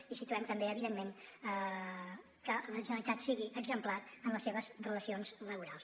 i situem també evidentment que la generalitat sigui exemplar en les seves relacions laborals